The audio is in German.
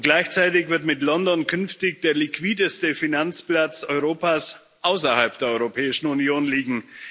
Gleichzeitig wird mit London künftig der liquideste Finanzplatz Europas außerhalb der Europäischen Union liegen.